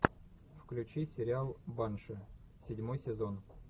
включи сериал банши седьмой сезон